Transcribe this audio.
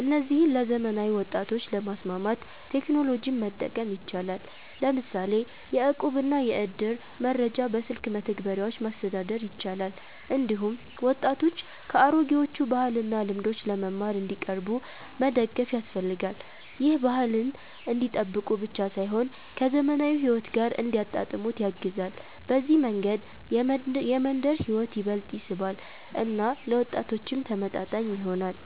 እነዚህን ለዘመናዊ ወጣቶች ለማስማማት ቴክኖሎጂን መጠቀም ይቻላል፤ ለምሳሌ የእቁብና የእድር መረጃ በስልክ መተግበሪያዎች ማስተዳደር ይቻላል። እንዲሁም ወጣቶች ከአሮጌዎቹ ባህልና ልምዶች ለመማር እንዲቀርቡ መደገፍ ያስፈልጋል። ይህ ባህልን እንዲጠብቁ ብቻ ሳይሆን ከዘመናዊ ሕይወት ጋር እንዲያጣጣሙት ያግዛል። በዚህ መንገድ የመንደር ሕይወት ይበልጥ ይስባል እና ለወጣቶችም ተመጣጣኝ ይሆናል።